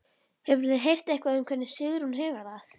Hefurðu heyrt eitthvað um hvernig Sigrún hefur það?